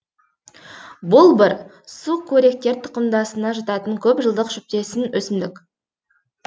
болбыр сукөріктер тұқымдасына жататын көп жылдық шөптесін өсімдік